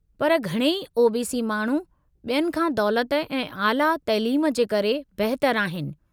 पर घणई ओ.बी.सी. माण्हू बि॒यनि खां दौलति ऐं आला तइलीम जे करे बहितर आहिनि।